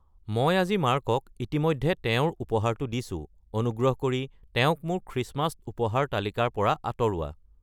মই আজি মাৰ্কক ইতিমধ্যে তেওঁৰ উপহাৰটো দিছোঁ, অনুগ্ৰহ কৰি তেওঁক মোৰ খ্ৰীষ্টমাছ উপহাৰ তালিকাৰ পৰা আঁতৰোৱা